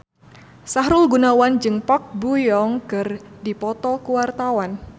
Sahrul Gunawan jeung Park Bo Yung keur dipoto ku wartawan